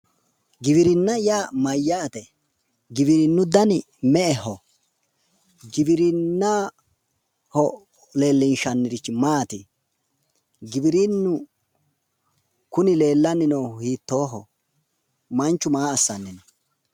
Giwirinna yaa mayyaate? giwirinnu dani me"eho? giwirinnaho leellishshanniri maati? giwirinnu kuni leellanni noohu hiittoho??manchu maa assanni no?